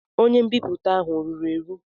Onye mbipụta ahụ ọ ruru eru?